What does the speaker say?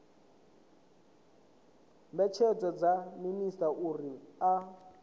mbetshelwa kha minisita uri a